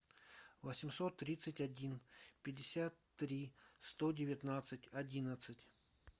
восемьсот тридцать один пятьдесят три сто девятнадцать одиннадцать